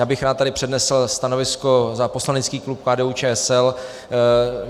Já bych rád tady přednesl stanovisko za poslanecký klub KDU-ČSL.